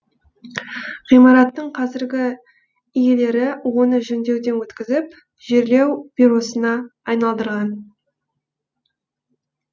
ғимараттың қазіргі иелері оны жөндеуден өткізіп жерлеу бюросына айналдырған